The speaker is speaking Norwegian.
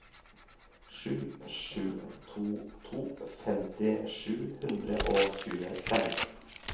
sju sju to to femti sju hundre og tjuefem